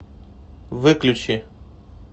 выключи